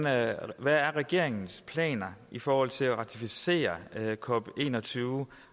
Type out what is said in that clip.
er regeringens planer i forhold til at ratificere cop21